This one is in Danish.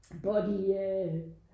Body øh